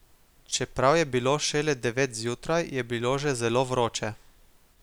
Čeprav je bilo šele devet zjutraj, je bilo že zelo vroče.